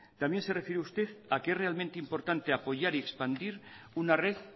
también se refiere usted a que es realmente importante apoyar y expandir una red